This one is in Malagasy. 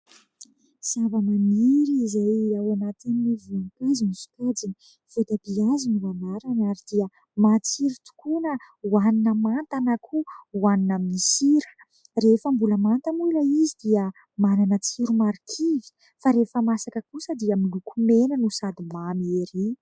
Zavamaniry izay ao anatin'ny voninkazo ny sokajiny, voatabia hazo no anarany ary dia mahatiry tokoa na hoanina manta na koa hoanina amin'ny sira. Rehefa mbola manta moa ilay izy dia manana tsiro marikivy, fa rehefa masaka kosa dia miloko mena no sady mamy ery.